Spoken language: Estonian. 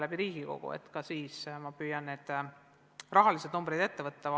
Kui me tuleme Riigikokku, siis ma püüan need rahasummad ette võtta.